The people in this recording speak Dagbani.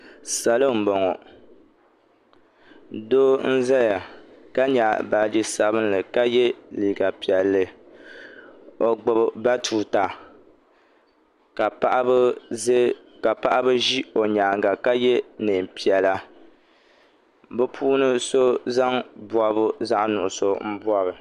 Salo n bɔŋo doo n zaya ka nyaɣi baaji sabinli ka yɛ liiga piɛlli o gbubi batuuta ka paɣaba ʒi o nyaanga ka yɛ niɛn piɛla bi puuni so zaŋ bɔbi zaɣa nuɣusu n bɔbi.